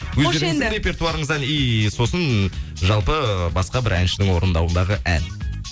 қош енді өздеріңіздің репертуарыңыздан иии сосын жалпы басқа бір әншінің орындауындағы ән